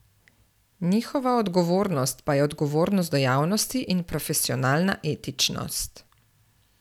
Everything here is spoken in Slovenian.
Njihova odgovornost pa je odgovornost do javnosti in profesionalna etičnost.